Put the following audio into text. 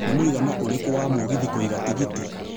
nĩ mwĩigana ũrĩkũ wa mũgithi kũiga tigiti